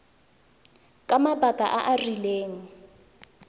ka mabaka a a rileng